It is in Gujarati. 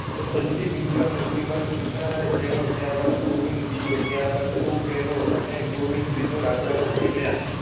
બંટીવીરૂ ના મૃત્યુ બાદ કૃષ્ણરાય પહેલો ત્યારબાદ ગોવિંદ બીજો ત્યારબાદ ધ્રુવ પહેલો અને ગોવિંદ ત્રીજો રાજા ઑ થય ગયા.